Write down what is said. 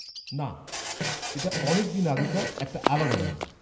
-না, এটা অনেক দিন আগেকার একটা আলাদা রাইডের।